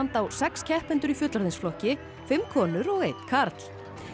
á sex keppendur í fullorðinsflokki fimm konur og einn karl